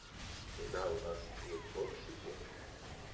когда у нас будут боксики